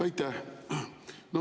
Aitäh!